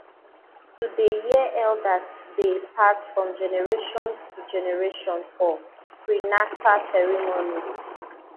to dey hear eldersdey pass from generations to generation for prenata ceremonies